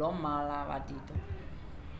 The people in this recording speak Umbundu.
lomala vatito